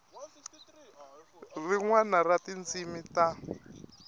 rin wana ra tindzimi ta